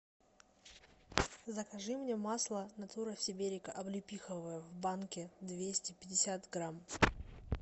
закажи мне масло натура сиберика облепиховое в банке двести пятьдесят грамм